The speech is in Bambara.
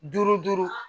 Duuru duuru